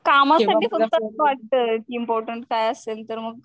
काम साठी सतत वाटतंय कि मोठं काय असेल तर मग